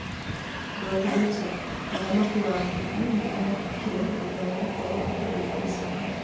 Nduati Richard: Mũthaki wa ngundi nĩ arakuire thutha wa gũkorwo akĩrũnga icoka.